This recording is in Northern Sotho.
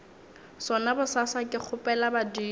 sona bosasa ke kgopela badimo